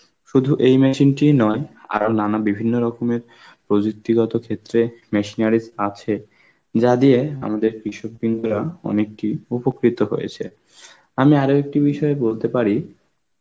শুধু এই machine টিই নয় আরো নানা বিভিন্ন রকমের প্রযুক্তিগত ক্ষেত্রে machineries আছে, যা দিয়ে আমাদের কৃষক বৃন্দরা অনেকদিন উপকৃত হয়েছে. আমি আর একটি বিষয় বলতে পারি,